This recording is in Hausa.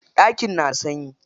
Ɗakin na da sanyi.